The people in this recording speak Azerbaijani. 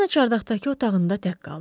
Poliana çardaqdakı otağında tək qaldı.